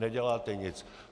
Neděláte nic.